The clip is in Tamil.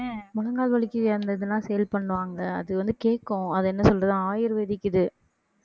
முழங்கால் வலிக்கு அந்த இதெல்லாம் sale பண்ணுவாங்க அது வந்து கேக்கும் அது என்ன சொல்றது ayurvedic இது